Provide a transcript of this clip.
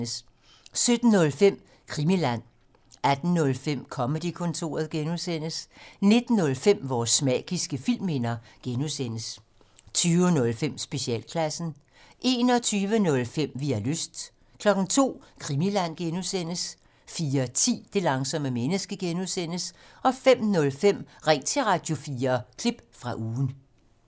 17:05: Krimiland 18:05: Comedy-kontoret (G) 19:05: Vores magiske filmminder (G) 20:05: Specialklassen 21:05: Vi har lyst 02:00: Krimiland (G) 04:10: Det langsomme menneske (G) 05:05: Ring til Radio4 – klip fra ugen